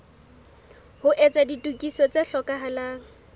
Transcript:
ho etsa ditokiso tse hlokahalang